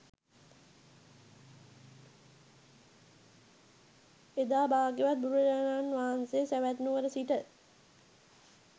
එදා භාග්‍යවත් බුදුරජාණන් වහන්සේ සැවැත් නුවර සිට